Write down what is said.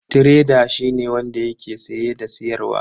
Tireda shine wanda yake siye da siyarwa.